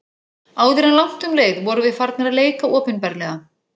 Áður en langt um leið vorum við farnir að leika opinberlega.